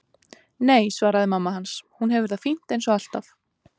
Nei, svaraði mamma hans, hún hefur það fínt eins og alltaf.